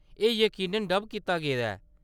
एह्‌‌ यकीनन डब कीता गेदा ऐ।